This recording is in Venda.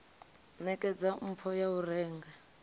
nekedza mpho ya u renga